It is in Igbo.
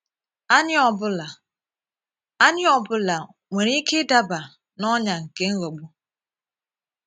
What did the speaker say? Anyị ọ bụla Anyị ọ bụla nwere ike ịdaba n’ọnyà nke ịghọgbu?